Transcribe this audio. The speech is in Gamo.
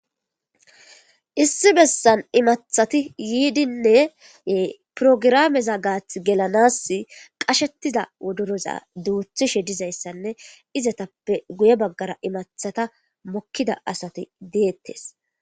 Issi besan eqida asatine porogirameza gathi gelanasi qashetida wodoroza duthishe dizaysane izetape guye bagara imatha mokida asati detes